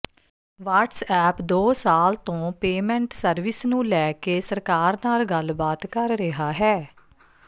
WhatsApp ਦੋ ਸਾਲ ਤੋਂ ਪੇਮੈਂਟ ਸਰਵਿਸ ਨੂੰ ਲੈ ਕੇ ਸਰਕਾਰ ਨਾਲ ਗੱਲਬਾਤ ਕਰ ਰਿਹਾ ਹੈ